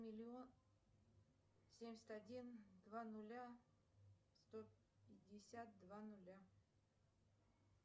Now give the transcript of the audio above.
семьдесят один два ноля сто пятьдесят два ноля